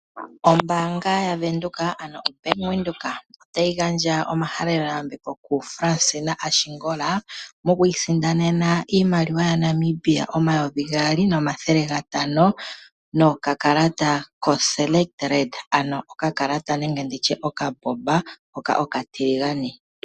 Ombaanga yaVenduka, ano oBank Windhoek otayi gandja omahaleloyambeko kuFransina Ashingola moku isindanena iimaliwa yaNamibia omayovi gaali nomathele gatano nokakalata koSelect Red, ano okakalata hoka okatiligane.